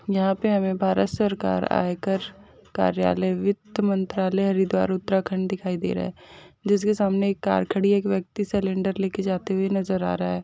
यहाँ पर हमें भारत सरकार आयकर कार्यालय वित्त मंत्रालय हरिद्वार उत्तराखंड दिखाई दे रहा है जिसके सामने कार खड़ी है और एक व्यक्ति सिलिंडर ले जाते हुए नजर आ रहा है।